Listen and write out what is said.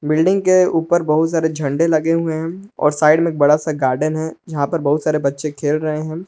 Building के ऊपर बहुत सारे झंडे लगे हुवे हैं और साइड में एक बड़ा सा गार्डन है जहां पे बहुत सारे बच्चे खेल रहे हैं।